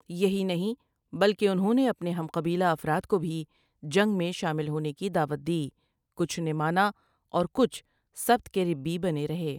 یہی نہیں بلکہ انہوں نے اپنے ہم قبیلہ افراد کو بھی جنگ میں شامل ہونے کی دعوت دی کچھ نے مانا اور کچھ سبت کے ربی بنے رہے ۔